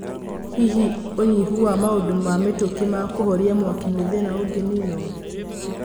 Hihi unyivu wa maũndũ ma mĩtũkĩ ma kuvoria mwaki nĩthina ũnginiinwo?